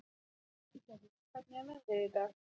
Hildigerður, hvernig er veðrið í dag?